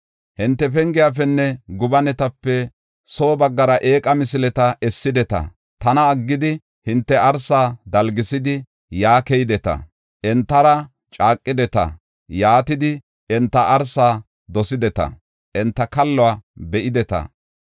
Hinte pengiyafenne gobanetape soo baggara eeqa misileta essideta. Tana aggidi hinte arsa dalgisidi, yaa keydeta; entara caaqideta; yaatidi enta arsa dosideta; enta kalluwa be7ideta.